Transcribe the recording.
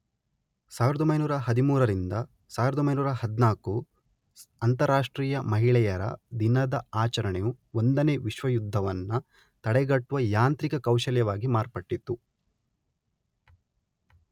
ಸಾವಿರದೊಂಬೈನೂರ ಹದಿಮೂರರಿಂದ ಸಾವಿರದೊಂಬೈನೂರ ಹದಿನಾಲ್ಕು, ಅಂತರಾಷ್ಟ್ರೀಯ ಮಹಿಳೆಯರ ದಿನದ ಆಚರಣೆ ಒಂದನೇ ವಿಶ್ವ ಯುದ್ಧವನ್ನ ತಡೆಗಟ್ಟುವ ಯಾಂತ್ರಿಕ ಕೌಶಲ್ಯವಾಗಿ ಮಾರ್ಪಟ್ಟಿತು.